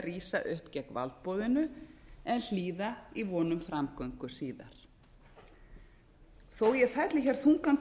rísa upp gegn valdboðinu en hlýða í von um framgöngu síðar þó að ég felli hér þungan